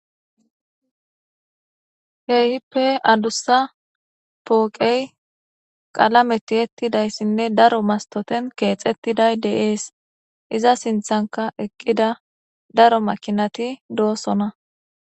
Keehippe adussa pooqey qalame tiettidayssinne daro mastoten keexettiday deees iza sinthanka eqqida daro makinati doosona